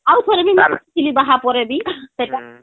ଆଉ ବି ଆଉ ଥରେ ବି ମୁଇଁ ଯାଇଥିଲି ବାହା ପରେ ବି ସେଟା